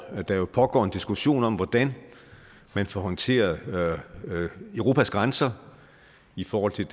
der pågår en diskussion om hvordan man får håndteret europas grænser i forhold til